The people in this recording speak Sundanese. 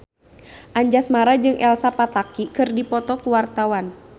Anjasmara jeung Elsa Pataky keur dipoto ku wartawan